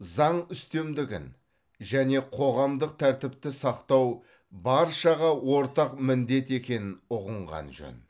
заң үстемдігін және қоғамдық тәртіпті сақтау баршаға ортақ міндет екенін ұғынған жөн